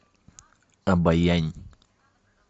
обоянь